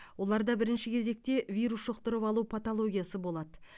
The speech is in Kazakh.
оларда бірінші кезекте вирус жұқтырып алу патологиясы болады